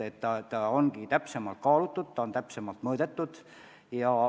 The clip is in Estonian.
Kõike on täpsemalt kaalutud, täpsemalt mõõdetud.